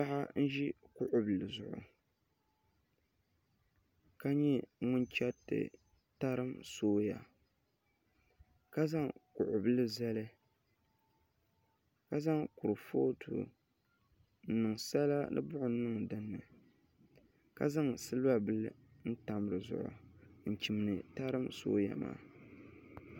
Paɣa n ʒi kuɣu bili zuɣu ka nyɛ ŋun chɛriti tarim sooya ka zaŋ kuɣu bili zali ka zaŋ kurifooti n niŋ sala ni buɣum niŋ dinni ka zaŋ silba bili n tam di zuɣu n chimdi tarim sooya maa